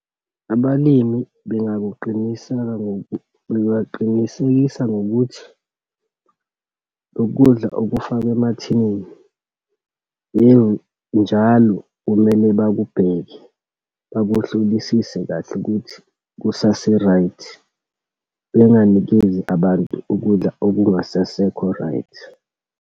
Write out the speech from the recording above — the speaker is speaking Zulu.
Abalimi bengakuqinisele, bengaqinisekisa ngokuthi lokudla okufakwe emathinini, yebo njalo, kumele bakubheke, bakuhlolisise kahle ukuthi kusase-right. Benganikezi abantu ukudla okungasasekho-right.